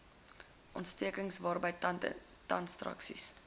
ontsteking waarby tandekstraksie